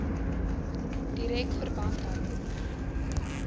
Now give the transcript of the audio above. direk verband hou